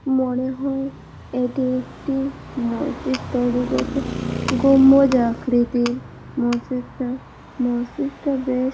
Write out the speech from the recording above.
মনে হয় এটি একটি মসজিদ তৈরি করছে গম্বুজ আকৃতি মসজিদ টা মসজিদটা বেশ--